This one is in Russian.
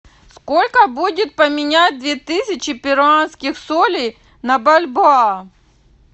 сколько будет поменять две тысячи перуанских солей на бальбоа